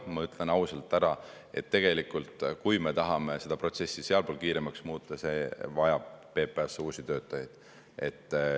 Ma ütlen ausalt ära, et kui me tahame seda protsessi sealpool kiiremaks muuta, siis on vaja PPA-sse uusi töötajaid.